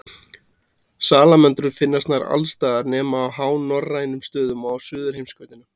Salamöndrur finnast nær alls staðar nema á hánorrænum stöðum og á Suðurheimskautinu.